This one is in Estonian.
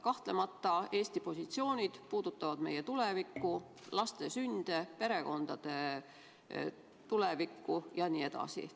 Kahtlemata Eesti positsioonid puudutavad meie tulevikku, laste sünde, perekondade tulevikku jne.